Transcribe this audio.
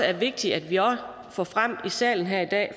er vigtigt at vi også får frem i salen her i dag